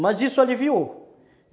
Mas isso aliviou.